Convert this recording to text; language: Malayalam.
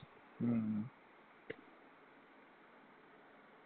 ഉം